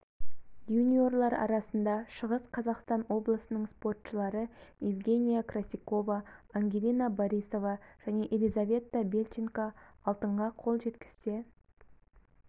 юниорлар арасында шығыс қазақстан облысының спортшылары евгения красикова ангелина борисова және елизавета бельченко алтынға қол жеткізсе